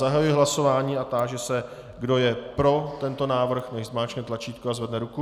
Zahajuji hlasování a táži se, kdo je pro tento návrh, nechť zmáčkne tlačítko a zvedne ruku.